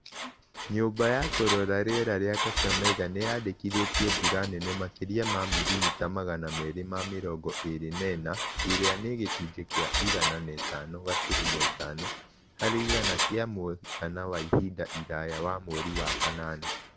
Nyũmba ya kũrora rĩera ya Kakamega nĩyandĩkithirie mbũra nene makĩria ya mirimira Magana merĩ ma mĩrongo ĩrĩ na inya ĩrĩa nĩ gĩcunjĩ kĩa igana na ithano gaturumo ithano harĩ igana kĩa mũigana wa ihinda iraya wa mweri wa kanana